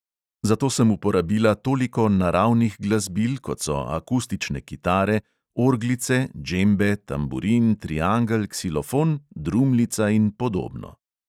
Zato sem uporabila toliko naravnih glasbil, kot so akustične kitare, orglice, džembe, tamburin, triangel, ksilofon, drumlica in podobno.